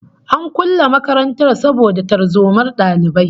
An kulle makarantar saboda tarzomar dalibai